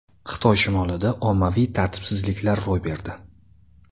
Xitoy shimolida ommaviy tartibsizliklar ro‘y berdi.